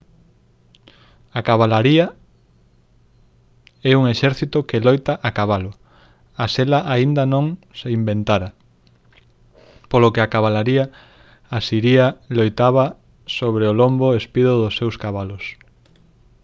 a cabalaría é un exército que loita a cabalo a sela aínda non se inventara polo que a cabalaría asiria loitaba sobre o lombo espido dos seus cabalos